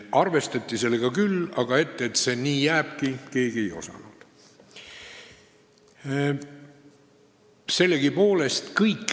Arvestati palgavahedega küll, aga keegi ei osanud ennustada, et see nii jääbki.